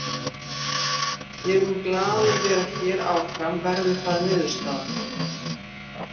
Ég mun glaður vera hér áfram verði það niðurstaðan.